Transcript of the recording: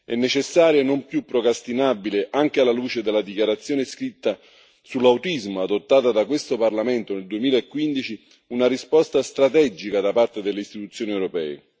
È necessaria e non più procrastinabile, anche alla luce della dichiarazione scritta sull'autismo adottata da questo Parlamento nel 2015, una risposta strategica da parte delle istituzioni europee.